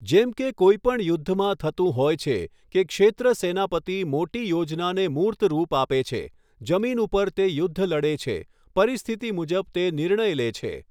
જેમ કે કોઈ પણ યુદ્ધમાં થતું હોય છે કે ક્ષેત્ર સેનાપતિ મોટી યોજનાને મૂર્તરૂપ આપે છે, જમીન ઉપર તે યુદ્ધ લડે છે, પરિસ્થિતિ મુજબ તે નિર્ણય લે છે.